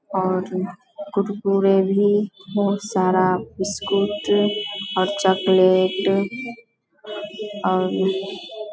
और अ कुरकुरे भी बोहत सारा बिस्कुट और चॉकलेट अ और --